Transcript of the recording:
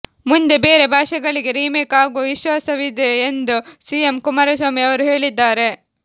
ಮುಂದೆ ಬೇರೆ ಭಾಷೆಗಳಿಗೆ ರಿಮೇಕ್ ಆಗುವ ವಿಶ್ವಾಸವಿದೆ ಎಂದು ಸಿಎಂ ಕುಮಾರಸ್ವಾಮಿ ಅವರು ಹೇಳಿದ್ದಾರೆ